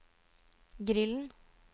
grillen